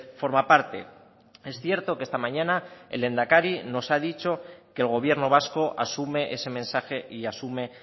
forma parte es cierto que esta mañana el lehendakari nos ha dicho que el gobierno vasco asume ese mensaje y asume